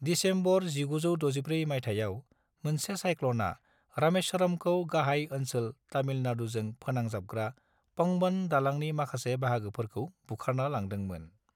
December 1964 माइथायाव, मोनसे साइक्ल'ना रामेश्वरमखौ गाहाय ओनसोल तामिलनाडुजों फोनांजाबग्रा पंबन दालांनि माखासे बाहागोफोरखौ बुखारना लांदोंमोन।